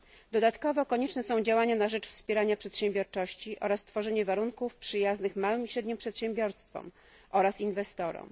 Dodatkowo konieczne są działania na rzecz wspierania przedsiębiorczości oraz tworzenie warunków przyjaznych małym i średnim przedsiębiorstwom oraz inwestorom.